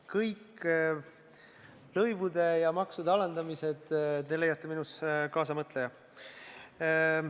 Kõik lõivude ja maksude alandamised – te leiate minus kaasamõtleja.